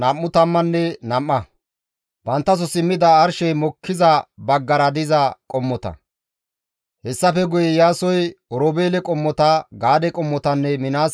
Hessafe guye Iyaasoy Oroobeele qommota, Gaade qommotanne Minaase qommo baggatappe xeygides.